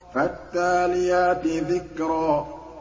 فَالتَّالِيَاتِ ذِكْرًا